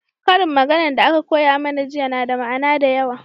ƙarin magana da aka koya mana jiya na da ma'ana da yawa